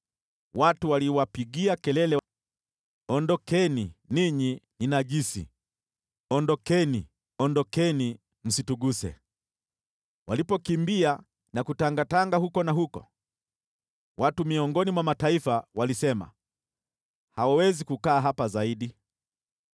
Watu wanawapigia kelele, “Ondokeni! Ninyi ni najisi! Ondokeni! Ondokeni! Msituguse!” Wanapokimbia na kutangatanga huku na huko, watu miongoni mwa mataifa wanasema, “Hawawezi kukaa hapa zaidi.”